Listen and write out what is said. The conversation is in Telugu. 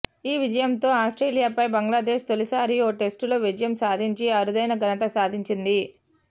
ఈ విజయంతో ఆస్ట్రేలియాపై బంగ్లాదేశ్ తొలిసారి ఓ టెస్టులో విజయం సాధించి అరుదైన ఘనత సాధించింది